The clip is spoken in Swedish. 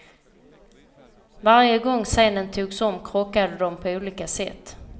Varje gång scenen togs om krockade de på olika sätt.